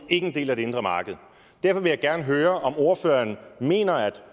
en del af det indre marked derfor vil jeg gerne høre om ordføreren mener at